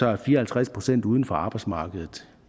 er fire og halvtreds procent uden for arbejdsmarkedet